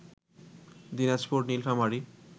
Dinajpur, Nilphamari